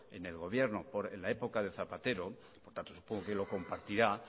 en el gobierno en la época de zapatero por lo tanto supongo que lo compartirá